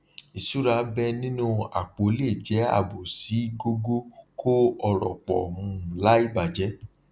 ìṣúra bẹẹ nínú àpò lè jẹ ààbò sí gógó kó ọrọ pọ um láì bàjẹ